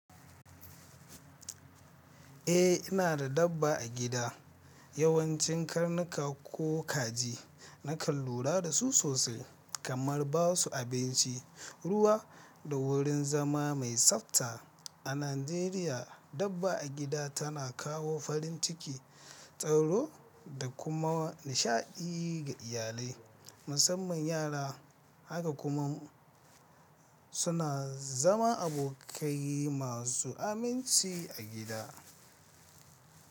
Eh, ina da dabba a gida. Yawanci karnuka ko kaji. Nakan lura da su sosai kamar ba su abinci, ruwa da wurin zama mai tsafta. A Najeriya, dabba a gida tana kawo farin ciki, tsaro da kuma nishaɗi ga iyalai, musamman yara. Haka kuma suna zama abokai masu aminci a gida.